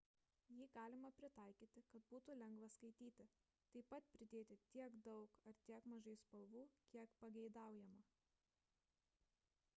jį galima pritaikyti kad būtų lengva skaityti taip pat pridėti tiek daug ar tiek mažai spalvų kiek pageidaujama